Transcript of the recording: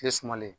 Kile sumalen